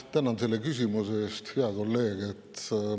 Tänan selle küsimuse eest, hea kolleeg!